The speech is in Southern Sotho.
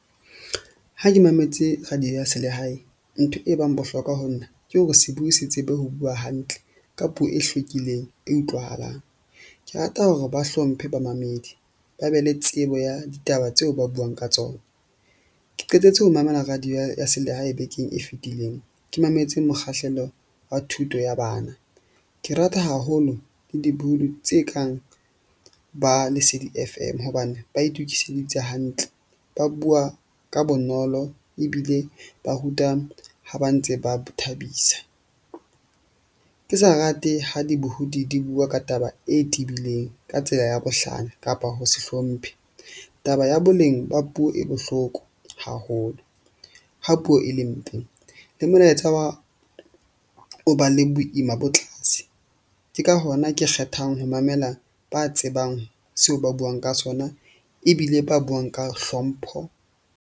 Ha ke mametse radio ya selehae, ntho e bang bohlokwa ho nna ke hore se bue se tsebe ho bua hantle ka puo e hlwekileng e utlwahalang. Ke rata hore ba hlomphe bamamedi, ba be le tsebo ya ditaba tseo ba buang ka tsona. Ke qetetse ho mamela radio ya selehae bekeng e fetileng ke mametse mokgahlelo wa thuto ya bana. Ke rata haholo le dibuhudi tse kang ba lesedi F_M. Hobane ba itukiseditse hantle, ba bua ka bonolo ebile ba ruta ha ba ntse ba thabisa. Ke sa rate ha dibohodi di bua ka taba e tebileng ka tsela ya bohlanya kapa ho se hlomphe. Taba ya boleng ba puo e bohloko haholo. Ha puo e le mpe, le molaetsa wa o ba le boima bo tlase. Ke ka hona ke kgethang ho mamela, ba tsebang seo ba buang ka sona ebile ba buang ka hlompho.